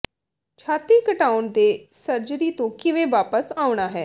ਛਾਤੀ ਘਟਾਉਣ ਦੇ ਸਰਜਰੀ ਤੋਂ ਕਿਵੇਂ ਵਾਪਸ ਆਉਣਾ ਹੈ